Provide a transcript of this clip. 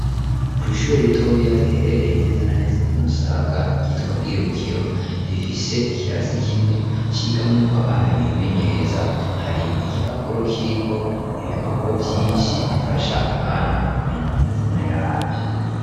Kw’ishure ritoya, riherereye neza na neza, ku Musaga, ryitwa Bwirukiro, rifise ikirasi kimwe, cigamwo abana, bimenyereza; hari igipapuro, kiriko ibikoko vyinshi, bifasha abana, kumenya amazina yavyo.